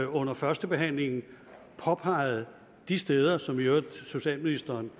under førstebehandlingen påpeget de steder som socialministeren